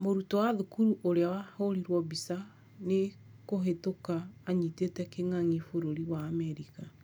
Mũrutwo wa thukuru ũria wahũrĩrwo mbica nĩ kũhĩtũka anyitĩte kĩng'ang'i bũrũri wa Amerika